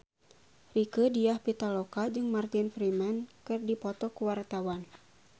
Rieke Diah Pitaloka jeung Martin Freeman keur dipoto ku wartawan